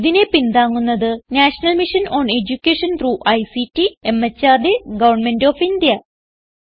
ഇതിനെ പിന്താങ്ങുന്നത് national mission on education through ICT MHRD government of India